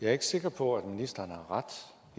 er ikke sikker på at ministeren har ret